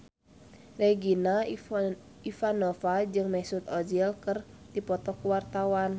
Regina Ivanova jeung Mesut Ozil keur dipoto ku wartawan